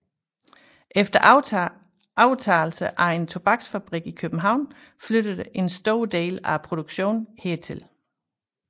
Efter overtagelse af en tobaksfabrik i København flyttede en stor del af produktionen hertil